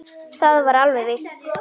Það var alveg víst.